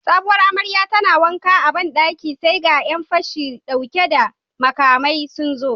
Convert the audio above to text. Sabuwar amaryar tana wanka a bandaki sai ga Yan fashi dauke da makamai sunzo